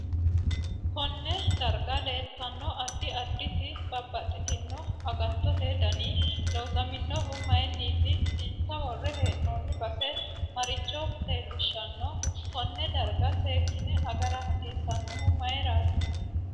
KOnne darga leeltanno addi additi babaxitinno agatote dani loosaminohu mayiiniti insa worre heenooni base maricho leelishanno konne darga seekine agara hasiisanohu mayiirati